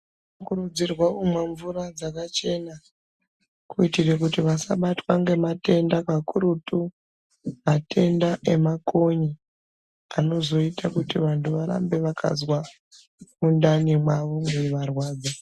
Vana vanokurudzirwa kumwa mvura dzakachena kuitira kuti vasabatwa ngematenda makurutu matenda emakonye anozoita kuti vanhu varambe vakazwa mundane mavo meivarwadza .